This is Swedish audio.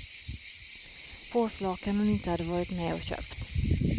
Påslakan hon inte hade varit med och köpt.